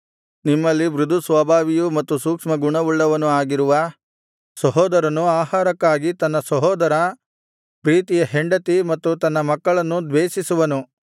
ನಿಮ್ಮಲ್ಲಿ ಮೃದುಸ್ವಭಾವಿಯೂ ಮತ್ತು ಸೂಕ್ಷ್ಮಗುಣವುಳ್ಳವನು ಆಗಿರುವ ಸಹೋದರನು ಆಹಾರಕ್ಕಾಗಿ ತನ್ನ ಸಹೋದರ ಪ್ರೀತಿಯ ಹೆಂಡತಿ ಮತ್ತು ತನ್ನ ಮಕ್ಕಳನ್ನು ದ್ವೇಷಿಸುವನು